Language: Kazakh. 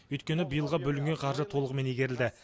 өйткені биылғы бөлінген қаржы толығымен игерілді